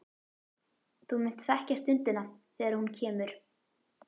Þú munt þekkja stundina þegar hún kemur.